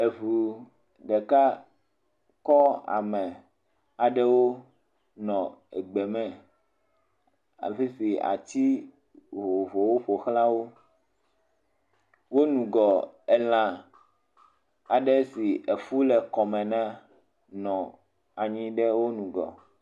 Eŋu ɖeka kɔ ame aɖewo nɔ egbeme afi si ati vovovowo ƒoxla wo. Wo ŋgɔ elã aɖe si efu le kɔme na nɔ wo ŋgɔ.